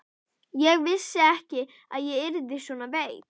Ég vissi ekki að ég yrði svona veik.